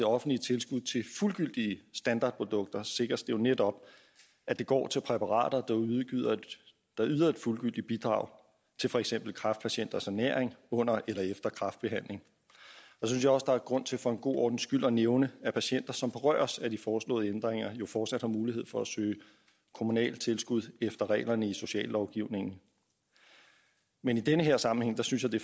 offentlige tilskud til fuldgyldige standardprodukter sikres det jo netop at det går til præparater der yder et fuldgyldigt bidrag til for eksempel kræftpatienters ernæring under eller efter kræftbehandling så synes jeg også der er grund til for god ordens skyld at nævne at patienter som berøres af de foreslåede ændringer jo fortsat har mulighed for at søge kommunalt tilskud efter reglerne i sociallovgivningen men i den her sammenhæng synes jeg det